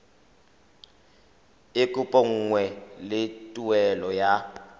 e kopanngwang le tuelo ya